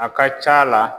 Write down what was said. A ka ca la